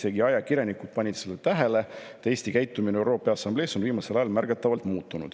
Ka ajakirjanikud panid seda tähele, et Eesti käitumine ÜRO Peaassamblees on viimasel ajal märgatavalt muutunud.